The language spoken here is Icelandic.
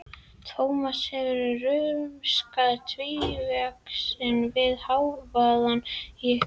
Tómas hefur rumskað tvívegis við hávaðann í ykkur.